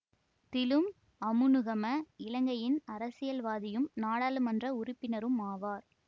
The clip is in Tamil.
திலும் அமுனுகம இலங்கையின் அரசியல்வாதியும் நாடாளுமன்ற உறுப்பினரும் ஆவார்